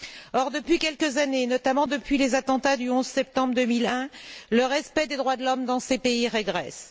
Or, depuis quelques années, notamment depuis les attentats du 11 septembre 2001, le respect des droits de l'homme dans ces pays régresse.